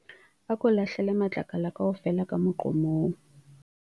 Ako lahlele matlakala kaofela ka moqomong.